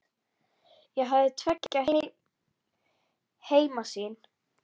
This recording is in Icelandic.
Ég hafði tveggja heima sýn.